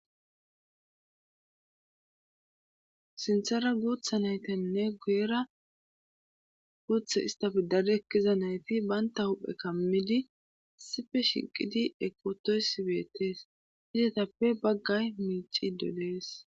Sinthara guutha naytanne gu'era guutha istafi dad ekkiza nayti banta huphe kammidi sife shiqqidi ekotoys beettees hidetappe baggay miici dolees.